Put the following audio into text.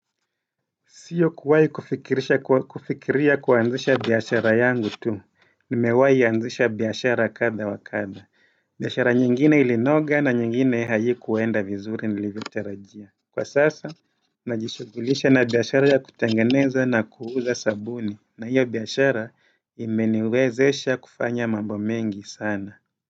Sio kuwahi kufikiria kuanzisha bihashara yangu tu, nimewahi anzisha biashara kadha wa kadha. Biashara nyingine ilinoga na nyingine haikuenda vizuri nilivyotarajia. Kwa sasa, najishugulisha na biashara ya kutengeneza na kuuza sabuni, na hiyo biashara imeniwezesha kufanya mambo mengi sana.